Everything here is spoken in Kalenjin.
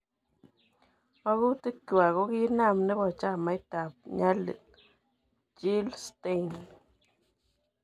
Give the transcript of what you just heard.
Makutikywa ko kiinam nepo chamaitap Nyalil , Jill Stein